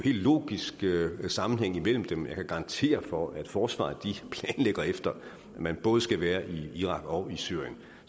logisk sammenhæng imellem dem jeg kan garantere for at forsvaret planlægger efter at man både skal være i irak og i syrien